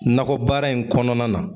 Nagɔ baara in kɔnɔna na